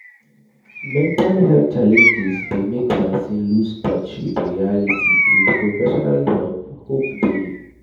Mental health challenges dey make person loose touch with reality with professional help, hope dey